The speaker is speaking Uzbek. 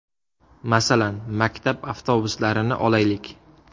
Masalan, maktab avtobuslarini olaylik.